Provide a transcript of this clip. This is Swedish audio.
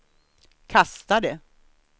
kastade